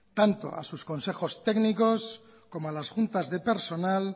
tanto a sus consejos técnicos como a las juntas de personal